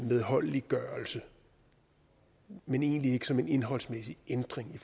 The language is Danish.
medholdeliggørelse men egentlig ikke som en indholdsmæssig ændring i